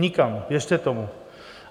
Nikam, věřte tomu.